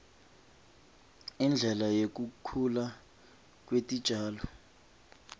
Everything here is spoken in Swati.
indlela yekukhula kwetitjalo